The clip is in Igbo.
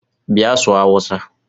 Bia sụọ hausa!!